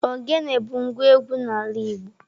Ogene bụ ngwa egwú n'ala Igbo.